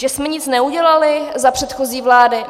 Že jsme nic neudělali za předchozí vlády?